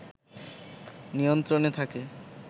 নিয়ন্ত্রণে থাকে